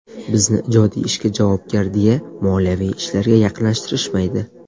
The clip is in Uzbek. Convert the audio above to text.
Bizni ijodiy ishga javobgar, deya moliyaviy ishlarga yaqinlashtirishmaydi.